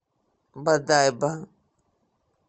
бодайбо